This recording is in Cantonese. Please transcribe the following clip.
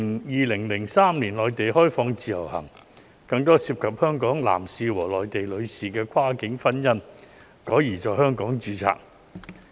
2003年，內地實施自由行，於是便有更多香港男士和內地女士的跨境婚姻改在香港註冊。